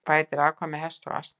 Hvað heitir afkvæmi hests og asna?